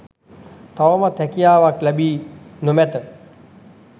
තවමත් හැකියාවක් ලැබී නො මැත.